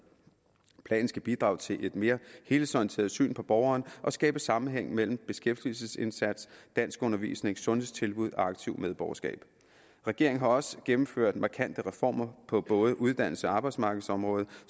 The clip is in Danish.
planen skal bidrage til et mere helhedsorienteret syn på borgeren og skabe sammenhæng mellem beskæftigelsesindsats danskundervisning sundhedstilbud og aktivt medborgerskab regeringen har også gennemført markante reformer på både uddannelses og arbejdsmarkedsområdet